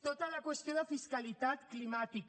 tota la qüestió de fiscalitat climàtica